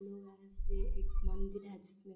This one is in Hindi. एक मन्दिर है जिसमें --